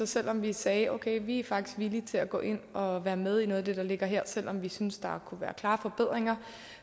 selv om vi sagde at okay vi er faktisk villige til at gå ind og være med i noget af det der ligger her selv om vi synes at der kunne være klare forbedringer